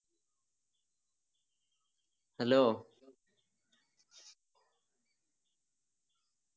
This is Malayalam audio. Hello